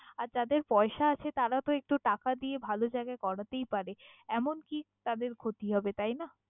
আর যাদের পয়সা আছে তারা তহ একটু টাকা দিয়ে ভালো জায়গায় করাতেই পারে এমন কি তাদের ক্ষতি হবে তাইনা?